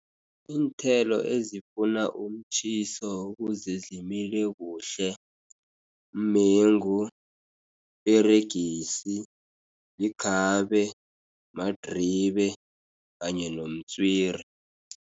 Iinthelo ezifuna umtjhiso ukuze zimile kuhle, mengu, iperegisi, likhabe, madiribe, kanye nomtswiri.